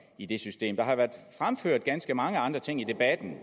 i det system der har været fremført ganske mange andre ting i debatten